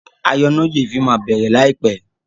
ayọnáyèéfín má bẹrẹ láì pé